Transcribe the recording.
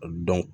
Dɔn